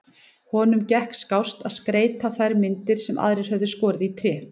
Honum gekk skást að skreyta þær myndir sem aðrir höfðu skorið í tré.